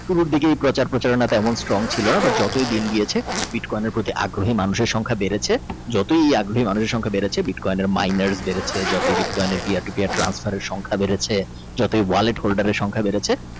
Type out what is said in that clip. সুর দেখে পচার প্রচারণা টা strong ছিল না but যতই দিন গিয়েছে কয়েনের প্রতি আগ্রহ সংখ্যা মানুষের বেড়েছে যতই মানুষ আগ্রহ সংখ্যা বেড়েছে মাইনে বেড়েছে সংখ্যা বেড়েছে বিটকয়েন এর Wallet holder সংখ্যা বেড়েছে।